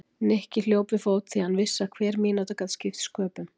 Nikki hljóp við fót því hann vissi að hver mínúta gat skipt sköpum.